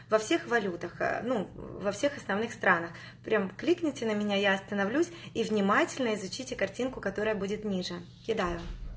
во всех валютах ну во всех остальных странах прям кликните на меня я остановлюсь и внимательно изучите картинку которая будет ниже кидаю